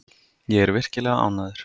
Ég er virkilega ánægður.